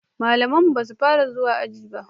malaman mu basu Fara zuwa aji ba